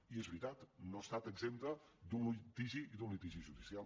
i és veritat no ha estat absenta d’un litigi i d’un litigi judicial